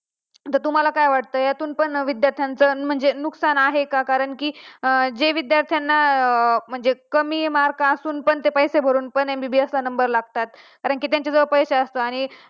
तर तुम्हला काय वाटत? यातून पण विद्यार्थ्यांचं नुकसान आहेच का कारण की जे विद्यार्थी म्हणजे कमी mark असून पण ते पैसे भरून पण MBBS ला number लागतात कारण कि त्यांच्या जवळ पैसे असतात आणि